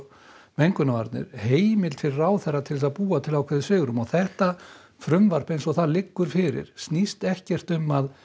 mengunarvarnir heimild fyrir ráðherra til að búa til ákveðið svigrúm og þetta frumvarp eins og það liggur fyrir snýst ekkert um að